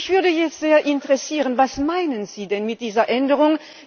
Mich würde jetzt sehr interessieren Was meinen Sie denn mit dieser Änderung?